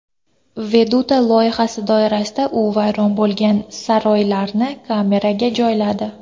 Veduta loyihasi doirasida u vayron bo‘lgan saroylarni kameraga joyladi.